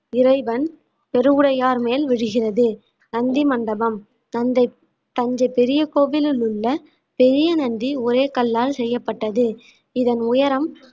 இறைவன் பெருவுடையார் மேல் விழுகிறது நந்தி மண்டபம் தந்தை தஞ்சை பெரிய கோவிலில் உள்ள பெரிய நந்தி ஒரே கல்லால் செய்யப்பட்டது இதன் உயரம்